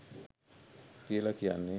කියල කියන්නේ.